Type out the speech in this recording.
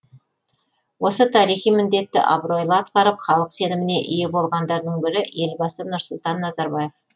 осы тарихи міндетті абыройлы атқарып халық сеніміне ие болғандардың бірі елбасы нұрсұлтан назарбаев